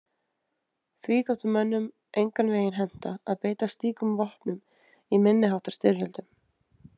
Því þótti mönnum engan veginn henta að beita slíkum vopnum í minni háttar styrjöldum.